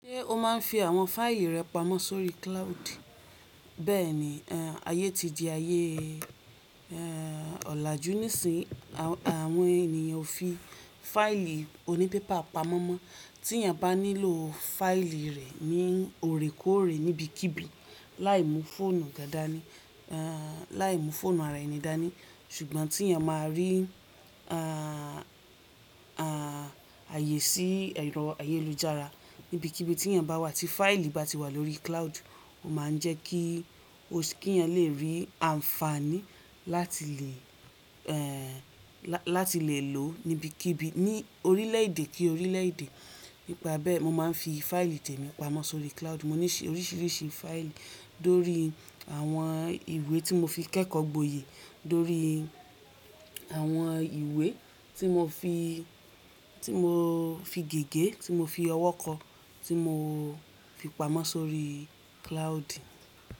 Ṣé o máa ń fi àwọn fáìlì rẹ pamọ́ sórí cloud? Bẹ́ẹ̀ni, ayé ti di ayé òlàjú nísìnyí àwọn ènìyàn fi fáìlì onípépà pamọ́ mọ́ tí èèyàn bá nílò fáìlì rẹ̀ ní òrékóòrè níbikíbi láì mú fóònù ga dání láì mú fóònù ara ẹni dání. Ṣùgbọ́n tí èèyàn máa rí ààyè sí ẹ̀rọ ayélujára níbikíbi tí èèyàn bá wà tí fáìlì bá ti wà lórí cloud, ó máa ń jẹ́ kí o kí èèyàn lè rí àǹfààní láti lè láti lè lòó níbikíbi ní orílẹ̀ èdè kí orílẹ̀ èdè. Nípa bẹ́ẹ̀, mo máa ń fi fáìlì tèmi pamọ́ sórí cloud. Mo ní oríṣiríṣi fáìlì lórí àwọn ìwé tí mo fi kẹ́kọ̀ọ́ gboyè, lórí àwọn ìwé tí mo fi tí mo fi gègé, tí mo fi ọwọ́ kọ, tí mo fi pamọ́ sórí cloud.